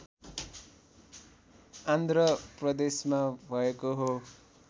आन्ध्र प्रदेशमा भएको हो